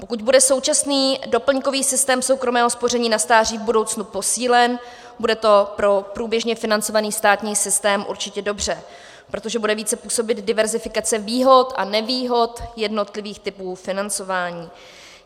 Pokud bude současný doplňkový systém soukromého spoření na stáří v budoucnu posílen, bude to pro průběžně financovaný státní systém určitě dobře, protože bude více působit diverzifikace výhod a nevýhod jednotlivých typů financování.